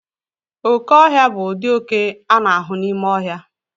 Oke ọhịa bụ ụdị oke a na-ahụ n'ime ọhịa.